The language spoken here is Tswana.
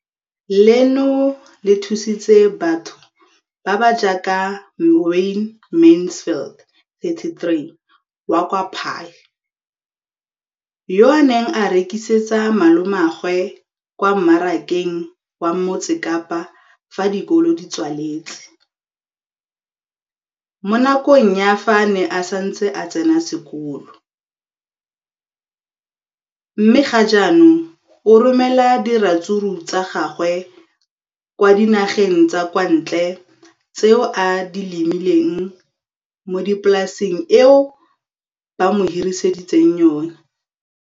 leno le thusitse batho ba ba jaaka Wayne Mansfield, 33, wa kwa Paarl, yo a neng a rekisetsa malomagwe kwa Marakeng wa Motsekapa fa dikolo di tswaletse, mo nakong ya fa a ne a santse a tsena sekolo, mme ga jaanong o romela diratsuru tsa gagwe kwa dinageng tsa kwa ntle tseo a di lemileng mo polaseng eo ba mo hiriseditseng yona.